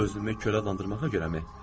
Özümü körə adlandırmağa görəmi?